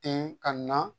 Ten ka na